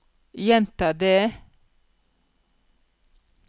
gjenta det